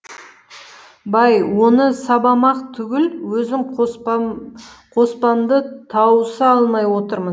бай оны сабамақ түгіл өзім қоспамды тауыса алмай отырмын